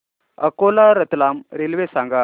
Akola Ratlam railway सांगा